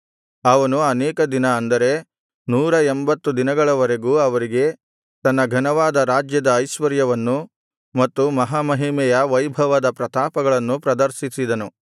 ಅವನು ಅನೇಕ ದಿನ ಅಂದರೆ ನೂರ ಎಂಭತ್ತು ದಿನಗಳವರೆಗೂ ಅವರಿಗೆ ತನ್ನ ಘನವಾದ ರಾಜ್ಯದ ಐಶ್ವರ್ಯವನ್ನೂ ಮತ್ತು ಮಹಾಮಹಿಮೆಯ ವೈಭವದ ಪ್ರತಾಪಗಳನ್ನೂ ಪ್ರದರ್ಶಿಸಿದನು